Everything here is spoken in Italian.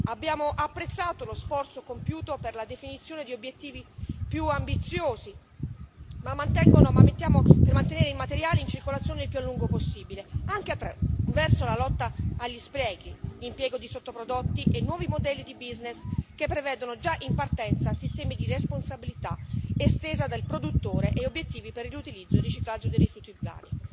Abbiamo apprezzato lo sforzo compiuto per la definizione di obiettivi più ambiziosi per mantenere i materiali in circolazione il più a lungo possibile, anche attraverso la lotta agli sprechi, l'impiego di sottoprodotti e nuovi modelli di business che prevedono già in partenza sistemi di responsabilità estesa del produttore e obiettivi per riutilizzo e il riciclaggio dei rifiuti urbani.